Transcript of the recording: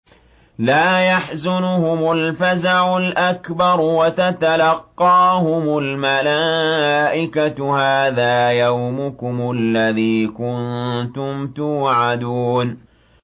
لَا يَحْزُنُهُمُ الْفَزَعُ الْأَكْبَرُ وَتَتَلَقَّاهُمُ الْمَلَائِكَةُ هَٰذَا يَوْمُكُمُ الَّذِي كُنتُمْ تُوعَدُونَ